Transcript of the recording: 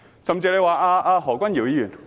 甚至有人說何君堯議員......